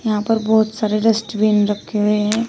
यहां पर बहुत सारे डस्टबिन रखे हुए हैं।